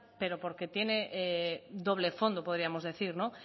pero porque tiene doble fondo podríamos decir no